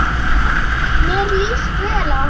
Mér líst vel á hana.